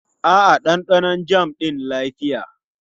A'a, ɗanɗanon jam ɗin lafiya.